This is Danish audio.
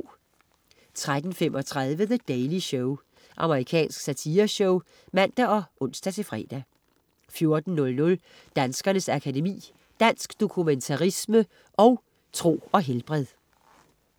13.35 The Daily Show. Amerikansk satireshow (man og ons-fre) 14.00 Danskernes Akademi. Dansk dokumentarisme & Tro og helbred